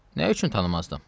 "Nə üçün tanımazdım?"